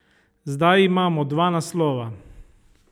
Zdaj imamo dva naslova.